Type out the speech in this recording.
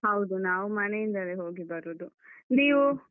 ಹೌದು, ನಾವು ಮನೆಯಿಂದಲೇ ಹೋಗಿ ಬರುದು, ನೀವು?